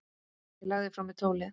Ég lagði frá mér tólið.